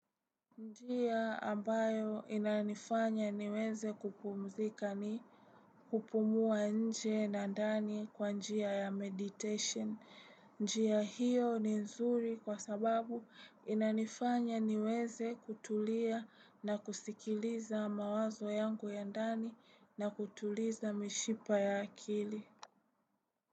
Njia ambayo inanifanya niweze kupumzika ni kupumua nje na ndani kwa njia ya meditation. Njia hiyo ni nzuri kwa sababu inanifanya niweze kutulia na kusikiliza mawazo yangu ya ndani na kutuliza mishipa ya akili.